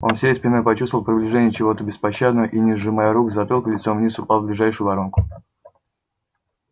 он всей спиной почувствовал приближение чего то беспощадного и не сжимая рук с затылка лицом вниз упал в ближайшую воронку